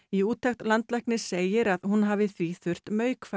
í úttekt landlæknis segir að hún hafi því þurft